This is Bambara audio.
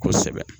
Kosɛbɛ